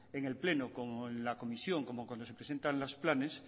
en el pleno como en la comisión como cuando se presentan los planes